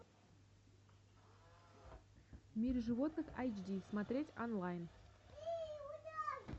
в мире животных эйч ди смотреть онлайн